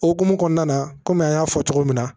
O hukumu kɔnɔna na kɔmi an y'a fɔ cogo min na